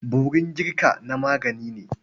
Borin girka na magani ne.